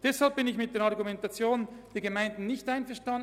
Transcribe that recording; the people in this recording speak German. Deshalb bin ich mit der Argumentation der Gemeinden nicht einverstanden.